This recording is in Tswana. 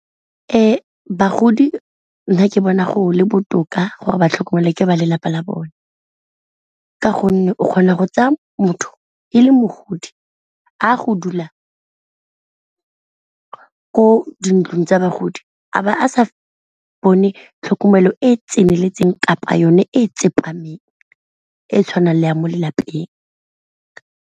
Ee, bagodi nna ke bona go le botoka gore ba tlhokomelwa ke ba lelapa la bone ka gonne o kgona go tsaya motho e le mogodi a go dula ko dintlong tsa bagodi a ba a sa bone tlhokomelo e e tseneletseng, kapa yone e tsepameng e tshwanang le ya mo le lapeng.